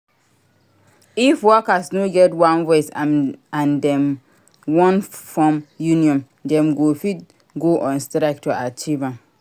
If workers no get one voice and them won form union them fit go on strike to achieve am